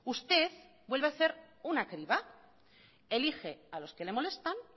usted vuelve a hacer una criba elige a los que le molestan